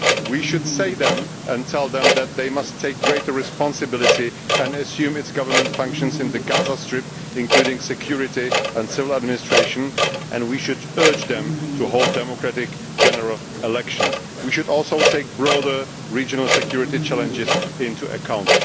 We should tell them that they must take greater responsibility and assume their governmental functions in the Gaza Strip, including security and civil administration, and we should urge them to hold democratic general elections. We should also take broader regional security challenges into account.